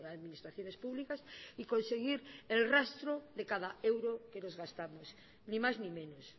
administraciones públicas y conseguir el rastro de cada euro que nos gastamos ni más ni menos